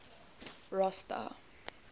rosta